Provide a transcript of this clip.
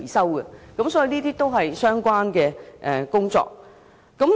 我們認為這些也是相關的工作。